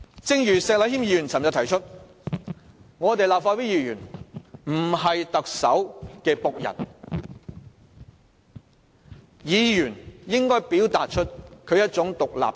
正如石禮謙議員昨天指出，立法會議員不是特首的僕人，議員應表達出獨立性。